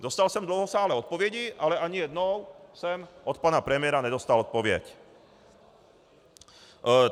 Dostal jsem dlouhosáhlé odpovědi, ale ani jednou jsem od pana premiéra nedostal odpověď.